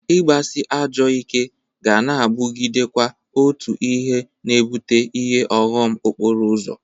Ị gbasị ajọọ ike ga na-abụgidekwa otu ihe na-ebụte ihe ọghọm okporo ụzọ